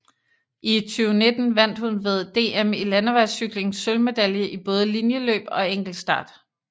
I 2019 vandt hun ved DM i landevejscykling sølvmedalje i både linjeløb og enkeltstart